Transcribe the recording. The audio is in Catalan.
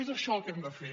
és això el que hem de fer